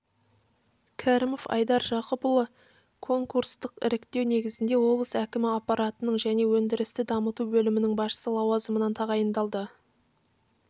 кәрімов айдар жақыпұлы конкурстық іріктеу негізінде облыс әкімі аппаратының және өндірісті дамыту бөлімінің басшысы лауазымына тағайындалды